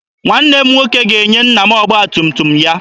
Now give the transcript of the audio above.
Nwanne m nwoke ga-enye nna m ọgba tum tum ya.